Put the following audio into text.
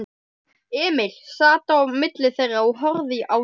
Emil sat á milli þeirra og horfði á þau.